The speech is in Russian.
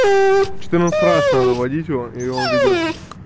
четырнадцать раз надо вводить его и он введётся